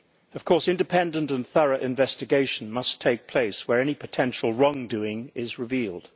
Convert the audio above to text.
Of course, independent and thorough investigation must take place where any potential wrongdoing is revealed.